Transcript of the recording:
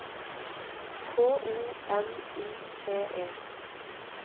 K O M I T E